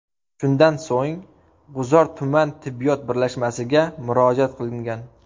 Shundan so‘ng, G‘uzor tuman tibbiyot birlashmasiga murojaat qilingan.